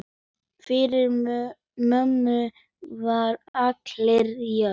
Fyrir mömmu voru allir jafnir.